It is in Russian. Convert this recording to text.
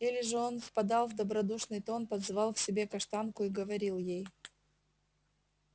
или же он впадал в добродушный тон подзывал к себе каштанку и говорил ей